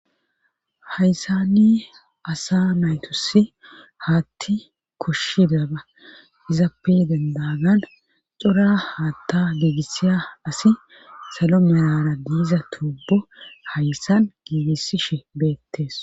hayssani asa naytosi haatti koshshi damba izappe dendagan xora haatta giigisiya asi salo melara diiza tubo hayssan giigisishe beettes